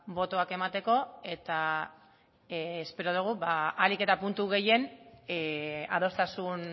botoak emateko eta espero dugu ahalik eta puntu gehien adostasun